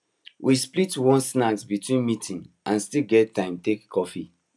we split one snack between meetings and still get time take coffee